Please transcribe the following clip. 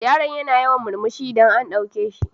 Yaron yana yawan murmushi idan an ɗauke shi